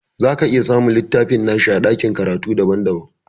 Zaka iya samun littafin nashi a ɗakin karatu daban daban